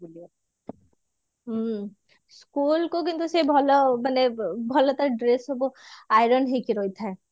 ହୁଁ school କୁ କିନ୍ତୁ ସେ ଭଲ ମାନେ ଭଲ ତା dress ସବୁ iron ହେଇକି ରହିଥାଏ